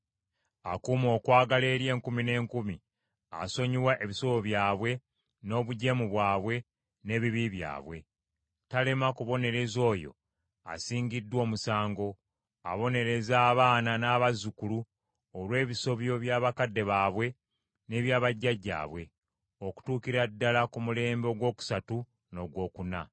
Akuuma okwagala eri enkumi n’enkumi asonyiwa ebisobyo byabwe, n’obujeemu bwabwe, n’ebibi byabwe. Talema kubonereza oyo asingiddwa omusango. Abonereza abaana n’abazzukulu olw’ebisobyo bya bakadde baabwe n’ebya bajjajjaabwe, okutuukira ddala ku mulembe ogwokusatu n’ogwokuna.”